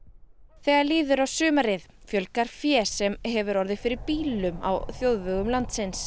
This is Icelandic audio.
þegar líður á sumarið fjölgar fé sem hefur orðið fyrir bílum á þjóðvegum landsins